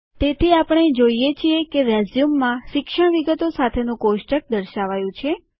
તેથી આપણે જોઈએ છીએ કે રેઝ્યુમમાં શિક્ષણ વિગતો સાથેનું કોષ્ટક દર્શાવાયું છે